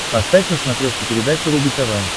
поставь на смотрешке передачу рубль тв